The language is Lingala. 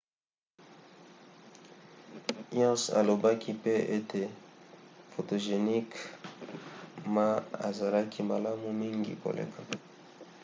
hsieh alobaki pe ete photogenic ma ezalaki malamu mingi koleka